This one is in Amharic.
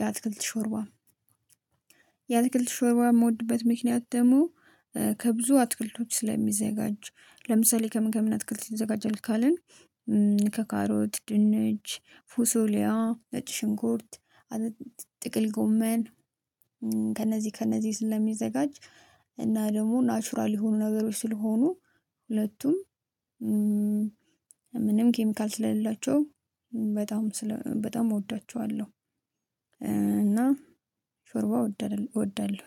የአትክልት ሾርባ። የአትክልት ሾርባ የምወድበት ምክንያት ደግሞ ከብዙ አትክልቶች ስለሚዘጋጁ ለምሳሌ ከምን ከምን አትክልት ይዘጋጃል ካልን? ከካሮት ድንች ፉሶሊያ ነጭ ሽንኩርት ጥቅል ጎመን ከነዚህ ከነዚህ ስለሚዘጋጅ። እና ደግሞ ናቹራል የሆኑ ነገሮች ስለሆኑ ሁለቱም ምንም ኬሚካል ስለሌላቸው በጣም በጣም እወዳቸዋለሁ። እና ሾርባ እወዳለሁኝ።